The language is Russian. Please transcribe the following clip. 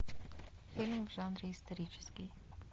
фильм в жанре исторический